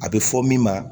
A bɛ fɔ min ma